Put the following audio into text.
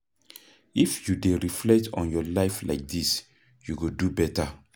If you dey reflect on your life like dis you go do beta